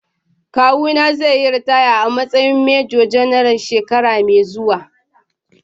Kawuna zai yi ritaya a matsayin Major-General shekara mai zuwa.